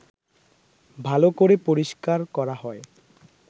ভালো করে পরিষ্কার করা হয়